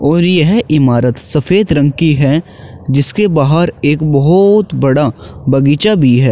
और यह इमारत सफेद रंग की है जिसके बाहर एक बहोत बड़ा बगीचा भी है।